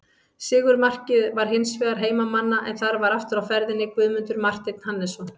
Sigurmarkið var hins vegar heimamanna en þar var aftur á ferðinni Guðmundur Marteinn Hannesson.